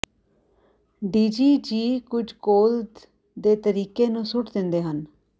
Digi ਜੀ ਕੁਝ ਕੋਲ ਦੇ ਤਰੀਕੇ ਨੂੰ ਸੁੱਟ ਦਿੰਦੇ ਹਨ